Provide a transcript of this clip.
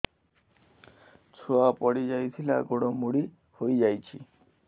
ଛୁଆ ପଡିଯାଇଥିଲା ଗୋଡ ମୋଡ଼ି ହୋଇଯାଇଛି